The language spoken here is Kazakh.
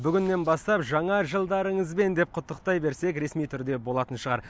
бүгіннен бастап жаңа жылдарыңызбен деп құттықтай берсек ресми түрде болатын шығар